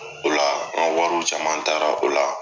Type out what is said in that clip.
O la, anka wariw caman taara o la.